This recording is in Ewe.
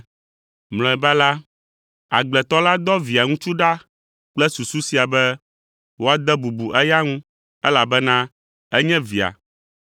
Mlɔeba la, agbletɔ la dɔ Via ŋutsu ɖa kple susu sia be woade bubu eya ŋu, elabena enye via.